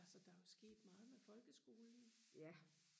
altså der er jo sket meget med folkeskolen